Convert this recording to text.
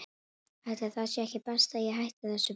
Ætli það sé ekki best að ég hætti þessu bara.